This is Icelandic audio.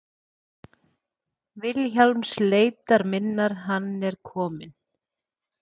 Vilhjálms leitar minnar Hann er kominn.